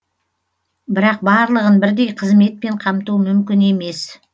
бірақ барлығын бірдей қызметпен қамту мүмкін емес